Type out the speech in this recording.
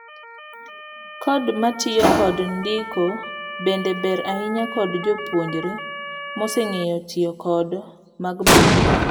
Codes matiyo kod ndiko bende ber ahinya kod jop[uonjre mose ng'eyo tiyo kod mag block.